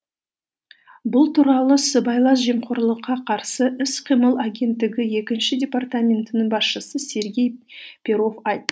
бұл туралы сыбайлас жемқорлыққа қарсы іс қимыл агенттігі екінші департаментінің басшысы сергей перов